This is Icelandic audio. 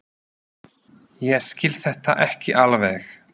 Ég skil þetta ekki alveg.